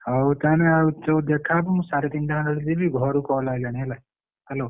ହଉ ତାହେନେ ଆଉ ଯୋଉ ଦେଖା ହବ ମୁଁ ସାଢେ ତିନଟା ଖଣ୍ଡେ ବେଳକୁ ଯିବି ଘରୁ call ଆଇଲାଣି ହେଲା hello ।